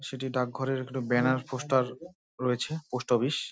সেটি ডাক ঘরের একটি ব্যানার পোস্টার রয়েছে। Post office.